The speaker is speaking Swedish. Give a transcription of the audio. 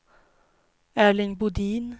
Erling Bodin